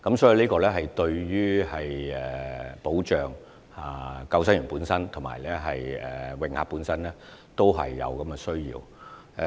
這對保障救生員及泳客本身也是有需要的。